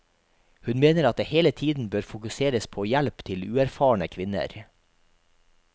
Hun mener at det hele tiden bør fokuseres på hjelp til uerfarne kvinner.